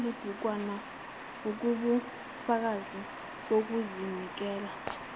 kulelibhukwana ungubufakazi bokuzinikela